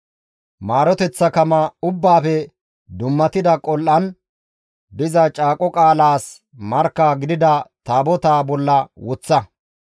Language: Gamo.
Maaroteththa kama ubbaafe dummatida qol7an diza caaqo qaalaas markka gidida taabotaa bolla woththa.